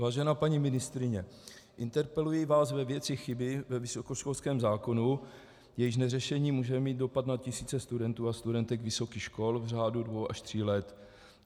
Vážená paní ministryně, interpeluji vás ve věci chyby ve vysokoškolském zákonu, jejíž neřešení může mít dopad na tisíce studentů a studentek vysokých škol v řádu dvou až tří let.